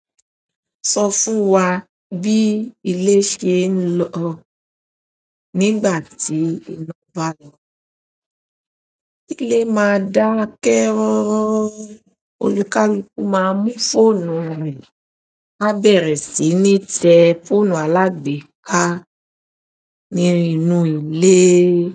Sọ fún wa bí ilé ṣe ń lọ nígbà tí iná bá lọ. Ilé máa dákẹ́ rọ́rọ́, olùkálúku máa mú fóònù rẹ̀, a bẹ̀rẹ̀ sí ní tẹ fóònù alágbèéká nínú ilé.